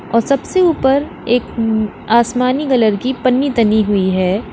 और सबसे ऊपर एक आसमानी कलर की पन्नी तनी हुई है।